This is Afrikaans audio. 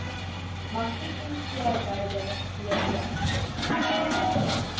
magrietjie swaaiboude de